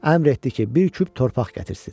Əmr etdi ki, bir küp torpaq gətirsin.